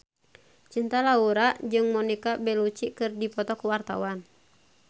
Cinta Laura jeung Monica Belluci keur dipoto ku wartawan